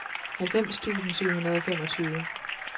halvfems tusind syv hundrede og femogtyve